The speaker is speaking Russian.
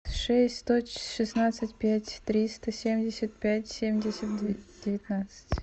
шесть сто шестнадцать пять триста семьдесят пять семьдесят девятнадцать